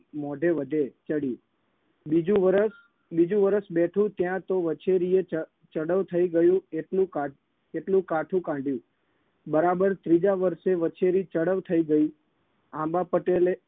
મોઢે વધે ચડ્યું. બીજું વરસ બીજું વરસ બેઠું ત્યાં તો વછેરીએ ચડ ચડઉ થઇ ગઈ એટલું કા એટલું કાઠું કાઢ્યું. બરાબર ત્રીજા વર્ષે વછેરી ચડઉ થઇ ગઈ આંબા પટેલે